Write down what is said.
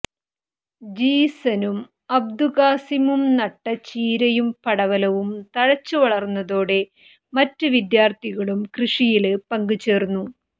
ജീസനും അബ്ദുകാസിമും നട്ട ചീരയും പടവലവും തഴച്ചുവളര്ന്നതോടെ മററ് വിദ്യാര്ത്ഥികളും കൃഷിയില് പങ്ക ചേര്ന്നു